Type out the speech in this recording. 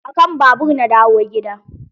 Akan babur na dawo gida.